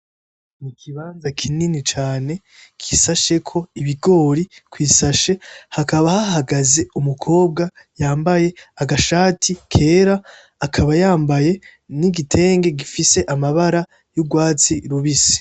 Ikibanza kinini cane gishasheko ibigori kwi sashe, hakaba hahagaze umukobwa yambaye agashati kera, akaba yambaye n'igitende gifise amabara y'urwatsi rubisi.